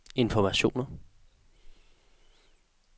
informationer